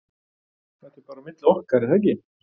ÞETTA er bara á milli okkar er þaggi?